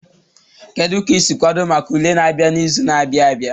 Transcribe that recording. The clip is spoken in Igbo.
Kedu ka ị si kwado maka ule na-abịa n'izu na-abịa abia?